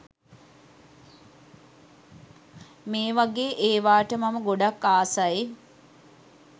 මේ ව‍ගේ ඒවාට මම ගොඩක් ආසයි.